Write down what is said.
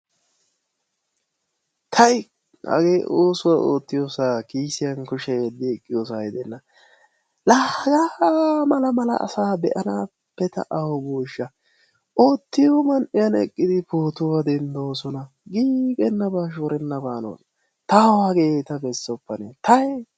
Tayi! hagee oosuwa ootiyoosaa kiisiyan kushiya yediyosa gidenna, Laa hagaa mala malaasa be'anaappe ta awu boosha. oottiyo man'iyan eqqidi pootuwa dendoosona. ayba shorenabee? tawu hageeta besoppa tayi!